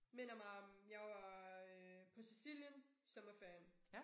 Minder mig om jeg var øh på Sicilien sommerferien